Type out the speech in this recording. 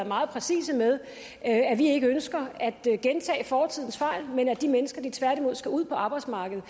meget præcise med at vi ikke ønsker at gentage fortidens fejl men at de mennesker tværtimod skal ud på arbejdsmarkedet